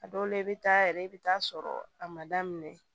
A dɔw la i bɛ taa yɛrɛ i bɛ taa sɔrɔ a ma daminɛ